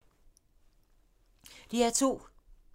DR2